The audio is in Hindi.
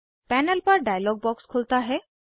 पैनल पर डायलॉग बॉक्स खुलता है